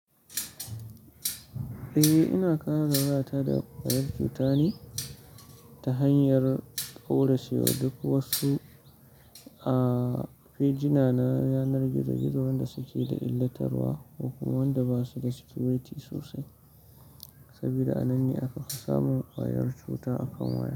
Eh, ina kare wayata da ƙwayar cuta ne ta hanyar ƙauracewa duk wasu, ah, fejina na yanar gizo-gizo wanda suke da illatarwa, ko wanda basu da security sosai. Saboda a nan ne aka fi samun ƙwayar cuta akan waya.